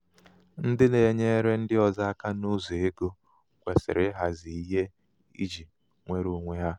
ndị na-enyere ndị ọzọ aka n'ụzọ ego kwesịrị ịhazi ihe iji nwere iji nwere onwe ha.